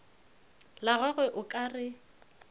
la gagwe o ka re